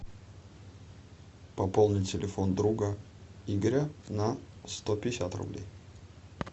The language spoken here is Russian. пополнить телефон друга игоря на сто пятьдесят рублей